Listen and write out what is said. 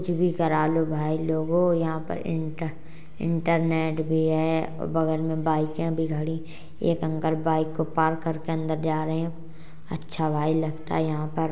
कुछ भी करा लो भाई लोगों यहाँ पर इंटर इंटरनेट भी है और बगल में बाइकें भी खड़ी एक अंकल बाइक को पार्क करके अंदर जा रहे अच्छा भाई लगता है यहाँ पर।